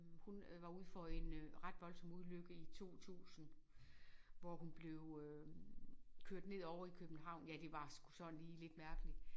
Hun øh var ude for en øh ret voldsom ulykke i 2000 hvor hun blev øh kørt ned ovre i København ja det var sgu sådan lige lidt mærkeligt